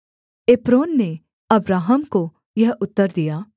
Ephron ने Abraham को यह उत्तर दिया